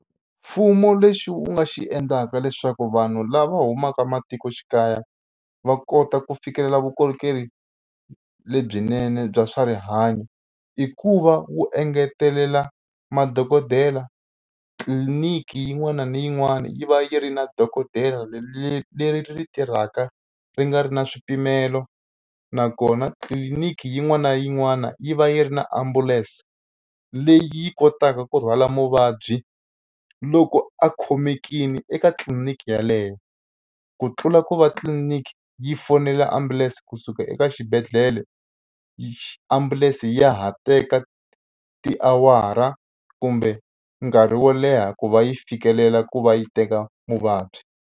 Mfumo lexi wu nga xi endlaka leswaku vanhu lava humaka matikoxikaya va kota ku fikelela vukorhokeri lebyinene bya swa rihanyo i ku va wu engetelela madokodela tliliniki yin'wana na yin'wana yi va yi ri na dokodela leri ri tirhaka ri nga ri na swipimelo nakona tliliniki yin'wana na yin'wana yi va yi ri na ambulense leyi yi kotaka ku rhwala muvabyi loko a khomekile eka tliliniki yeleyo ku tlula ku va tliliniki yi fonela ambulense kusuka eka eka xibedhlele xi ambulense ya ha teka tiawara kumbe nkarhi wo leha ku va yi fikelela ku va yi teka muvabyi.